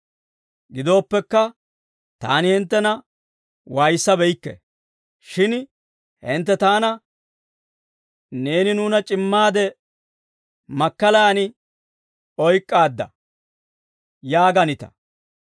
Gidooppekka, taani hinttena waayissabeykke; shin hintte taana, «Neeni nuuna c'immaade makkalaan oyk'k'aadda» yaaganita.